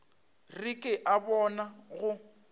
re ke a bona go